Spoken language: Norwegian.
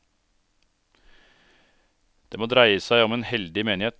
Det må dreie seg om en heldig menighet.